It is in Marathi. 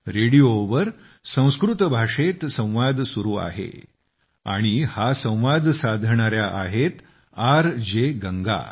रेडिओवर संस्कृत भाषेत संवाद सुरू आहे आणि हा संवाद साधणाऱ्या आहेत आर जे गंगा